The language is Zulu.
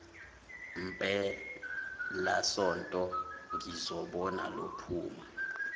mpelasonto ngizobona lophuma